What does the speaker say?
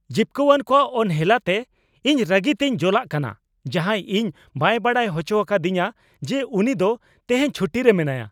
ᱡᱤᱵᱠᱟᱹᱣᱟᱱ ᱠᱚᱣᱟᱜ ᱚᱱᱦᱮᱞᱟᱛᱮ ᱤᱧ ᱨᱟᱹᱜᱤᱛᱤᱧ ᱡᱚᱞᱟᱜ ᱠᱟᱱᱟ ᱡᱟᱦᱟᱸᱭ ᱤᱧ ᱵᱟᱭ ᱵᱟᱰᱟᱭ ᱦᱚᱪᱚ ᱟᱠᱟᱫᱤᱧᱟᱹ ᱡᱮ ᱩᱱᱤ ᱫᱚ ᱛᱮᱦᱮᱧ ᱪᱷᱩᱴᱤᱨᱮ ᱢᱮᱱᱟᱭᱟ ᱾